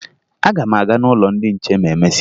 Aga m aga n'ụlọ ndị nche ma e mesịa